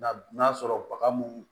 Na n'a sɔrɔ baga mun